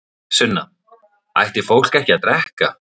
Sunna: Ætti fólk ekki að drekka?